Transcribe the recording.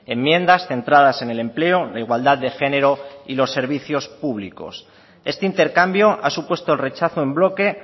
enmiendas centradas en el empleo la igualdad de género y los servicios públicos este intercambio ha supuesto el rechazo en bloque